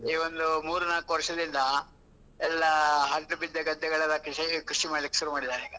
ಈ ಒಂದು ಮೂರು, ನಾಕು ವರ್ಷದಿಂದ, ಎಲ್ಲ ಹಡಿಲು ಬಿದ್ದ ಗದ್ದೆಗಳೆಲ್ಲ ಕೃಷಿಗೆ ಕೃಷಿ ಮಾಡ್ಲಿಕ್ಕೆ ಶುರು ಮಾಡಿದ್ದಾರೆ ಈಗ.